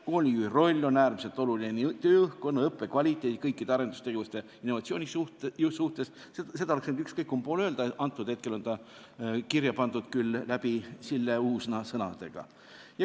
Koolijuhi roll on äärmiselt oluline tööõhkkonna, õppekvaliteedi ning kõikide arendustegevuste ja innovatsiooni jaoks – seda oleks võinud ükskõik kumb pool öelda, hetkel on see kirja pandud küll Sille Uusna sõnadega.